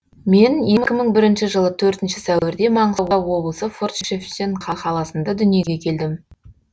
менекі мың бірінші жылы төртінші сәуірде маңғыстау облысы форт шевченко қаласында дүниеге келдім